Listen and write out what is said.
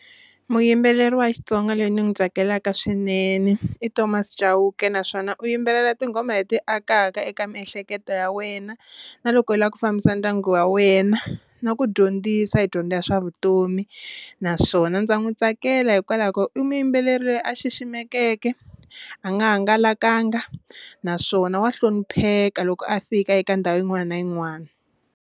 Muyimbeleri wa xitsonga loyi ni n'wi tsakelaka swinene i Thomas Chauke naswona u yimbelela tinghoma leti akaka eka miehleketo ya wena na loko u lava ku fambisa ndyangu wa wena na ku dyondzisa hi dyondzo ya swa vutomi, naswona ndza n'wi tsakela hikwalaho ko i muyimbeleri loyi a xiximekeke a nga hangalakanga naswona wa hlonipheka loko a fika eka ndhawu yin'wana na yin'wana.